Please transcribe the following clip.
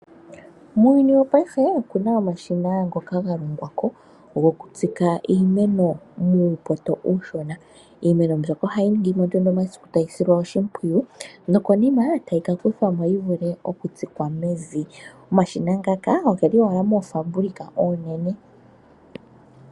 Muuyuni wopaife okuna omashina ngoka ga longwa ko goku tsika iimeno muupoto uushona. Iimeno mbyoka ohayi ningi mo nduno omasiku tayi silwa oshimpwiyu nokonima tayi ka kuthwamo yi vule okutsikwa mevi. Omashina ngaka ogeli owala moofaabulika oonene.